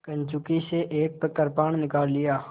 कंचुकी से एक कृपाण निकाल लिया